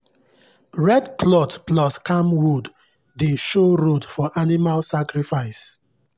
red cloth plus camwood dey show road for animal sacrifice.